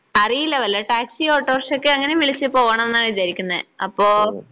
അറിയില്ല വെല്ല ടാക്സി ഓട്ടോറിക്ഷയൊക്കെ അങ്ങനെ വിളിച്ച് പോവണംന്നാ വിചാരിക്കുന്നെ അപ്പോ